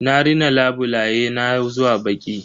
Na rina labulaye na zuwa baƙi.